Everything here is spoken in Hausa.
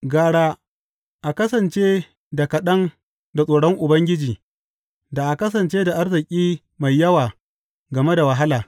Gara a kasance da kaɗan da tsoron Ubangiji da a kasance da arziki mai yawa game da wahala.